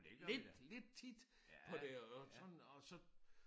Lidt lidt tit på det og sådan og så